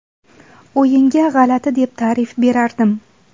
O‘yinga g‘alati deb ta’rif berardim.